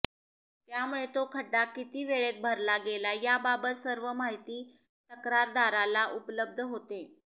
त्यामुळे तो खड्डा किती वेळेत भरला गेला याबाबत सर्व माहिती तक्रारदाराला उपलब्ध होते